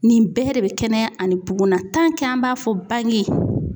Nin bɛɛ de bɛ kɛnɛya ani bugunna an b'a fɔ bange